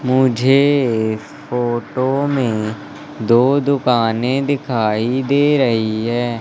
मुझे ये फोटो में दो दुकाने दिखाई दे रही है।